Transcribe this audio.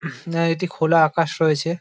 না এটি খোলা আকাশ রয়েছে।